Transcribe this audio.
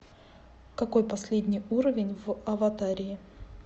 какой последний уровень в аватарии